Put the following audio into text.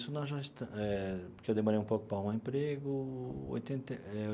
Nisso nós já estamos eh porque eu demorei um pouco para arrumar um emprego, oitenta eh.